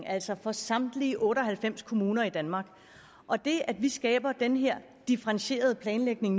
altså for samtlige otte og halvfems kommuner i danmark og det at vi nu skaber den her differentierede planlægning